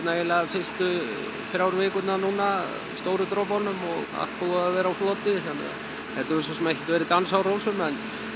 fyrstu þrjá vikurnar núna stóru dropunum og allt búið að vera á floti þannig að þetta hefur svo sem ekkert verið dans á rósum en